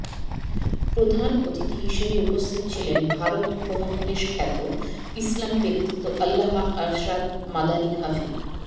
প্রধান অতিথি হিসেবে উপস্থিত ছিলেন ভারত উপমহাদেশ খ্যাত ইসলামী ব্যক্তিত্ব আল্লামা আরশাদ মাদানী হাফি